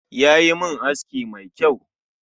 Yayi min aski mai kyau